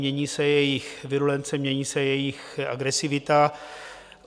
Mění se jejich virulence, mění se jejich agresivita.